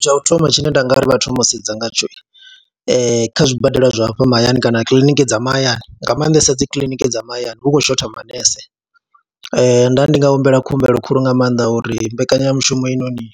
Tsha u thoma tshine nda nga uri vha thome u sedza ngatsho kha zwibadela zwa hafha mahayani kana kiḽiniki dza mahayani, nga maanḓesa dzi kiḽiniki dza mahayani hu khou shotha manese. Nda ndi nga humbela khumbelo khulu nga maanḓa uri mbekanyamushumo heinoni